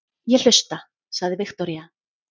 Ég hlusta, sagði Viktoría.